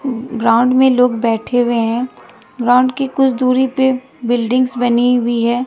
Ground में लोग बैठे हुए हैं ग्राउंड के कुछ दूरी पे बिल्डिंग्स बनी हुई है।